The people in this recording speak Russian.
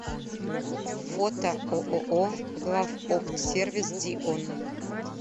фото ооо главоптсервис дион